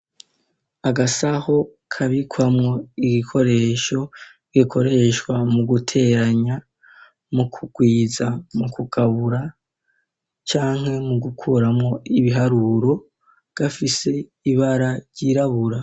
Agasaho kabikwamo ibikoresho gikoreshwa mu guteranya ,mu kugwiza ,mu kugabura canke mu gukuramwo ibiharuro ,gafise ibara ryirabura.